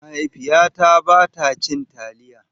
Mahaifiyata ba ta cin taliya.